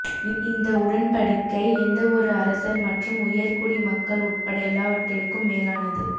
இந்த உடன்படிக்கை எந்தவொரு அரசர் மற்றும் உயர்குடிமக்கள் உட்பட எல்லாவற்றிற்கும் மேலானது